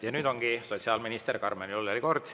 Ja nüüd ongi sotsiaalminister Karmen Jolleri kord.